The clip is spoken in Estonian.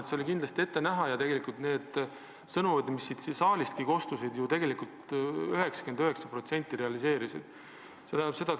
See oli kindlasti ette näha ja need ennustused, mis siit saalistki kostsid, 99% ulatuses realiseerusid.